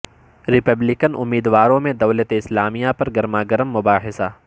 Republican امیدواروں میں دولت اسلامیہ پر گرما گرم مباحثہ